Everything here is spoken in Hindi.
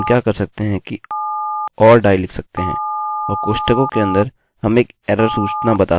इसके बाद हम क्या कर सकते हैं कि or die लिख सकते हैं और कोष्ठकों के अंदर हम एक एररerror सूचना बता सकते हैं उदाहरणस्वरुप connection failed